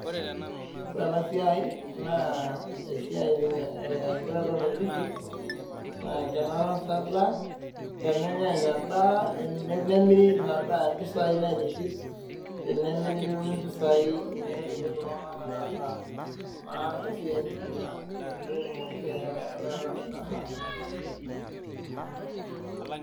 Kore ena siae naa esiae ee ore entoki naitiship naa enkinasata tenenyae inadaa ee nemiri ina daa mpisai naitiship tenemiri nitum impisai ninye naitiship iltungana metaasa naa esiae nijo Ina pee etumoki biashara enaata inasaa.